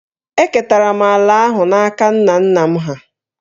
Eketara m ala ahụ n’aka nna nna m hà